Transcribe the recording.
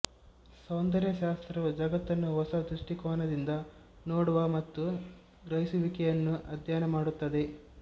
ಸೌಂದರ್ಯಶಾಸ್ತ್ರವು ಜಗತ್ತನ್ನು ಹೊಸ ದೃಷ್ಟಿಕೋನದಿಂದ ನೋಡವ ಮತ್ತು ಗ್ರಹಿಸುವಿಕೆಯನ್ನು ಅಧ್ಯಯನ ಮಾಡುತ್ತದೆ